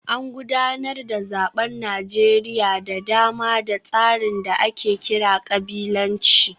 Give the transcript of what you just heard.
An gudanar da zaben Najeriya da dama da tsarin da ake kira kabilanci